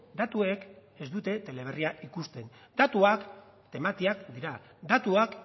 datuek ez dute teleberria ikusten datuak tematiak dira datuak